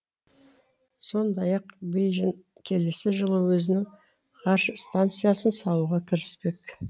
сондай ақ бейжің келесі жылы өзінің ғарыш станциясын салуға кіріспек